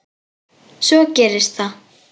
Svo gerist það.